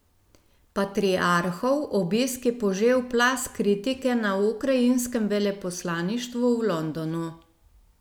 Patriarhov obisk je požel plaz kritike na ukrajinskem veleposlaništvu v Londonu.